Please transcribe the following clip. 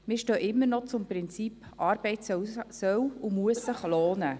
Wir stehen immer noch zum Prinzip, Arbeit soll und muss sich lohnen.